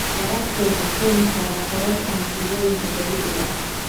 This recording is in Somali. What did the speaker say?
Waraabka wuxuu keeni karaa kororka masiibooyinka dabiiciga ah.